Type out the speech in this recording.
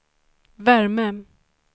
värme